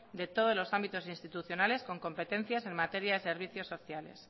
de todos los ámbitos institucionales con competencias en materias y servicios sociales